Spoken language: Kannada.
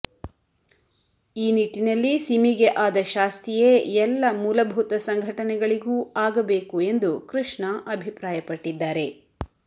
ಈ ನಿಟ್ಟಿನಲ್ಲಿ ಸಿಮಿಗೆ ಆದ ಶಾಸ್ತಿಯೇ ಎಲ್ಲ ಮೂಲಭೂತ ಸಂಘಟನೆಗಳಿಗೂ ಆಗಬೇಕು ಎಂದು ಕೃಷ್ಣ ಅಭಿಪ್ರಾಯಪಟ್ಟಿದ್ದಾರೆ